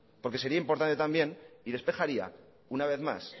porque sería importante también y despejaría una vez más